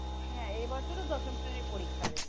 হ্যাঁ এইবছর ও দশম শ্রেণীর পরীক্ষা দেবে